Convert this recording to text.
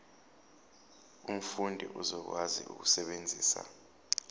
umfundi uzokwazi ukusebenzisa